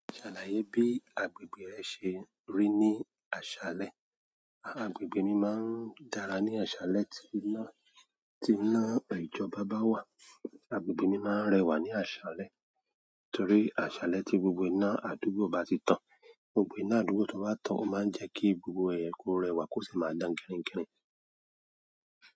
Ṣalaye bi agbègbè rẹ ṣe ríi ni aṣalẹ. Agbègbè mi máa ń dára ní àṣálẹ́ tí iná, tí iná ìjọba bá wà. Agbègbè mi máa ń rẹwà ní àṣálẹ́ torí àṣálẹ́ tí gbogbo iná àdúgbò bá ti tàn. Gbogbo iná àdúgbò tó bá tàn ó máa ń jẹ́ kí gbogbo ẹ̀yẹ kó rẹwà kó sì máa dán girín girín.